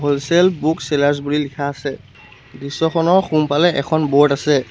Wholesale book sellers বুলি লিখা আছে দৃশ্যখনৰ সোঁফালে এখন বোৰ্ড আছে।